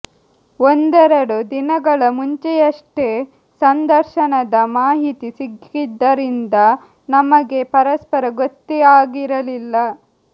ಒಂದೆರಡು ದಿನಗಳ ಮುಂಚೆಯಷ್ಟೇ ಸಂದರ್ಶನದ ಮಾಹಿತಿ ಸಿಕ್ಕಿದ್ದರಿಂದ ನಮಗೆ ಪರಸ್ಪರ ಗೊತ್ತೇ ಆಗಿರಲಿಲ್ಲ